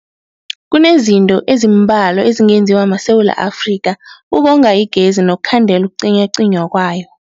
Kunezinto ezimbalwa ezingenziwa maSewula Afrika ukonga igezi nokukhandela ukucinywacinywa kwayo.